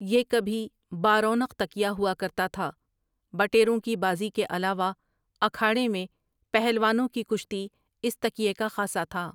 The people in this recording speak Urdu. یہ کبھی بارونق تکیہ ہوا کرتا تھا بٹیروں کی بازی کے علاوہ اکھاڑے میں پہلوانوں کی کشتی اس تکیے کا خاصا تھا ۔